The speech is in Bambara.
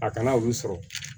A kana olu sɔrɔ